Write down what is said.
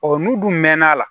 Ɔ n'u dun mɛn'a la